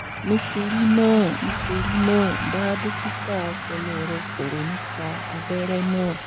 nítorí náà nítorí náà bá dókítà ọpọlọ rẹ sọ̀rọ̀ nípa abẹ́rẹ́ náà